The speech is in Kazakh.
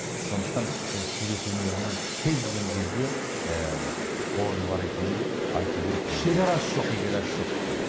сондықтан бұл сурет өнерінің кез келген жерде ы орны бар екенін айту керек шегарасы жоқ шегарасы жоқ бұл